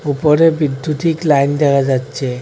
উপরে বিদ্যুতিক লাইন দেহা যাচ্চে।